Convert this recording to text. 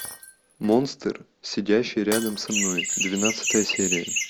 монстр сидящий рядом со мной двенадцатая серия